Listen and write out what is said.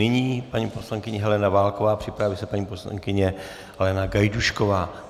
Nyní paní poslankyně Helena Válková, připraví se paní poslankyně Helena Gajdůšková.